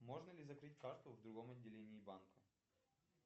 можно ли закрыть карту в другом отделении банка